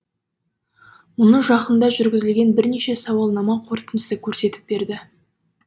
мұны жақында жүргізілген бірнеше сауалнама қорытындысы көрсетіп берді